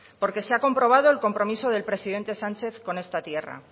porque se ha comprobado el compromiso del presidente sánchez con esta tierra